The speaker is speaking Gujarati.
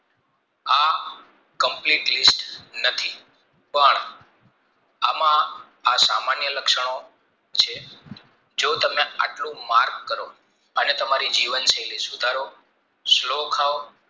Complete list નથી પણ એમાં આ સામાન્ય લક્ષણો છે જો તમે આટલું mark કરો અને તમારી જીવન શૈલી સુધારો slow ખાવ